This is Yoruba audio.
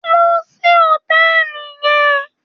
Lọ sí hòtẹ́ẹ̀lì yẹn.